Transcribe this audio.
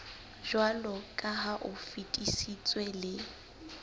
jwaloka ha o fetisitswe le